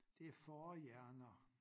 Det fårehjerner